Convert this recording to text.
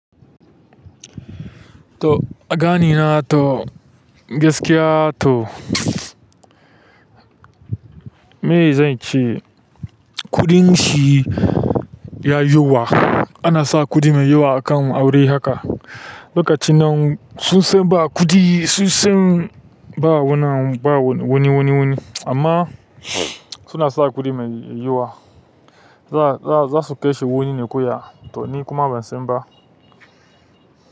To aganina to gaskiya to, me zan ce? Kuɗin shi ya yawa. Ana sa kuɗi mai yawa akan aure haka. Lokacin nan sun san ba kuɗi, sun san ba wannan ba wani wani wani amma suna sa kuɗi mai yawa. Za su kashe wani ne koya to ni kuma ban san ba.